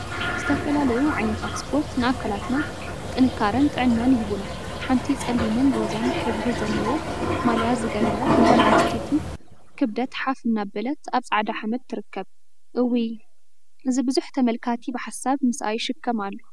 ዝተፈላዩ ዓይነታት ስፖርት ንአካላትና ጥንካረን ጥዕናን ይህቡና፡፡ ሓንቲ ፀሊምን ሮዛን ሕብሪ ዘለዎ ማልያ ዝገበረት ጓል አንስተይቲ ክብደት ሓፍ አናበለትአብ ፃዕዳ ሓመድ ትርከብ፡፡ እውይ! እዚ ቡዙሕ ተመልካቲ ብሓሳብ ምስአ ይሽከም አሎ፡፡